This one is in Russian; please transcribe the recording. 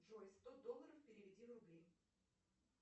джой сто долларов переведи в рубли